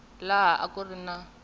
laha a ku ri na